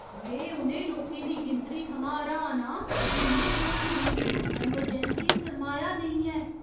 में उ'नें लोकें दी गिनतरी थमां हैरान आं जिं'दे कोल मूलभूत अमरजैंसी सरमाया नेईं है।